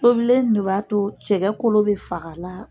Tobilen in de b'a to cɛkɛ kolo bɛ faga a la.